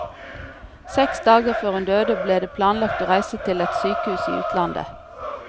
Seks dager før hun døde ble det planlagt å reise til et sykehus i utlandet.